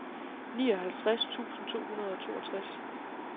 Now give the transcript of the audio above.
nioghalvtreds tusind to hundrede og toogtres